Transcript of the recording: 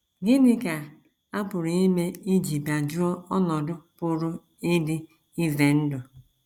Gịnị ka a pụrụ ime iji bịajụọ ọnọdụ pụrụ ịdị ize ndụ??